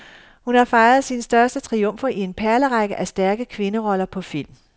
Hun har fejret sine største triumfer i en perlerække af stærke kvinderoller på film.